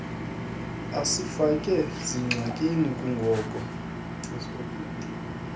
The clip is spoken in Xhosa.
asifake zingxakini kungoko